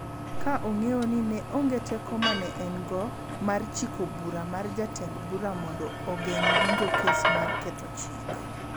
ka ong�eyo ni ne onge teko ma ne en-go mar chiko bura mar jatend bura mondo ogeng� winjo kes mar ketho chik.